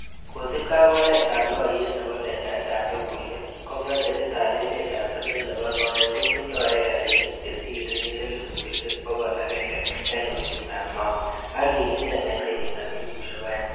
Kosiibge ak oretab noyet nebo letaet ab logoywek, ko projetitab emetab chumbek nebo soet ko tindoi ekarisiek chesire elifusiek bogol agenge en osnetab Mau, ak kikingem en kenyitab elfusiek oeng.